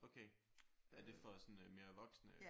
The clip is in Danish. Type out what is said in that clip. Okay. Er det for sådan mere voksne?